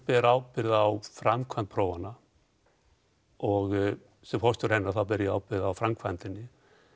ber ábyrgð á framkvæmd prófanna og sem forstjóri ber ég ábyrgð á framkvæmdinni